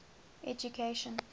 education